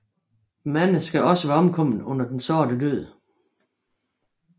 Mange skal også være omkommet under Den Sorte Død